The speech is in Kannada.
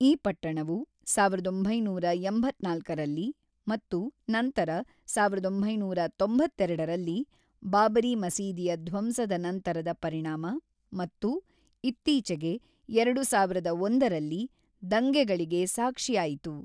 ಈ ಪಟ್ಟಣವು ಸಾವಿರದ ಒಂಬೈನೂರ ಎಂಬತ್ತ್ನಾಲ್ಕರಲ್ಲಿ ಮತ್ತು ನಂತರ ಸಾವಿರದ ಒಂಬೈನೂರ ತೊಂಬತ್ತೆರಡರಲ್ಲಿ (ಬಾಬರಿ ಮಸೀದಿಯ ಧ್ವಂಸದ ನಂತರದ ಪರಿಣಾಮ ) ಮತ್ತು, ಇತ್ತೀಚೆಗೆ ,ಎರಡು ಸಾವಿರದ ಒಂದರಲ್ಲಿ ದಂಗೆಗಳಿಗೆ ಸಾಕ್ಷಿಯಾಯಿತು.